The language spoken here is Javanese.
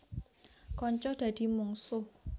Kanca dadi mungsuh